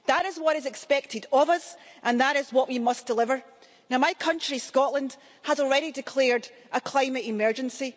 That is what is expected of us and that is what we must deliver. My country, Scotland, has already declared a climate emergency.